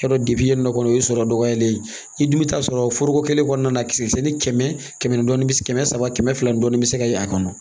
Yarɔ yen nɔ kɔni o ye sɔrɔ dɔgɔyalen ye i dun bɛ taa sɔrɔ foroko kelen kɔnɔna na kisɛ kɛmɛ saba kɛmɛ fila dɔɔnin bɛ se ka ye a kɔnɔ